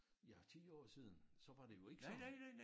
Ja 10 år siden så var det jo ikke sådan